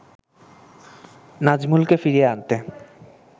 নাজমুলকে ফিরিয়ে আনতে